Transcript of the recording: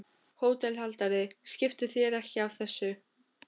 HÓTELHALDARI: Skiptu þér ekki af þessu.